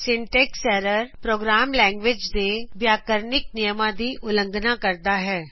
syntax error program language ਦੇ ਵਿਆਕਰਨਿਕ ਨਿਅਮਾ ਦੀ ਉਲੰਘਣਾ ਕਰਦਾ ਹੈ